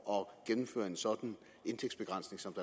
at gennemføre en sådan intægtsbegrænsning som